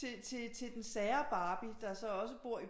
Til den sære barbie der så også bor i